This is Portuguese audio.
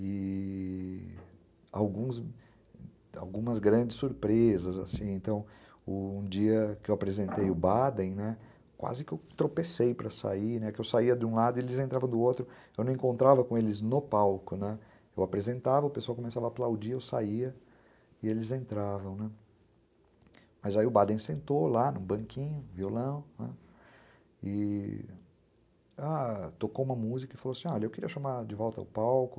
e... alguns, algumas grandes surpresas, assim, então, um dia que eu apresentei o Baden, né, quase que eu tropecei para sair, né, que eu saia de um lado e eles entravam do outro. Eu não encontrava com eles no palco, eu apresentava, o pessoal começava a aplaudir eu saia e eles entravam. Mas aí o Baden sentou lá no banquinho, violão, não é, é... tocou uma música e falou assim eu queria chamar de volta ao palco